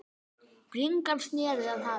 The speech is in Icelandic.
Bringan sneri að hafi.